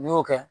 N'i y'o kɛ